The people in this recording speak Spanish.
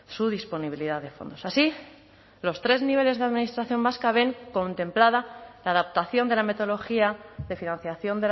su disponibilidad de fondos así los tres niveles de administración vasca ven contemplada la adaptación de la metodología de financiación